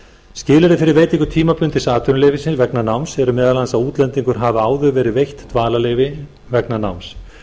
skilyrði fyrir veitingu tímabundins atvinnuleyfis vegna náms er meðal annars að útlendingi hafi áður verið veitt dvalarleyfi vegna náms